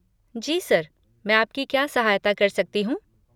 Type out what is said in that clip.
जी sir, मैं आपकी क्या सहायता कर सकती हूँ?